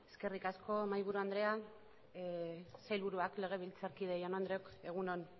eskerrik asko mahaiburu andrea sailburuak legebiltzarkide jaun andreok egun on